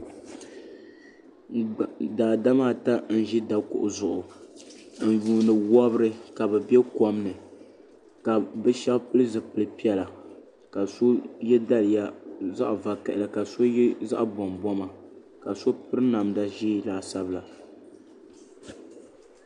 daadama ata n ʒi dakuɣu zuɣu n yuundi wobiri ka bi bɛ kom ni ka bi shab pili zipili piɛla ka si yɛ daliya zaɣ vakaɣali ka so yɛ zaɣ bɔnbɔma ka so piri namda ʒiɛ laasabu la